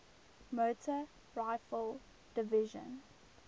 motor rifle division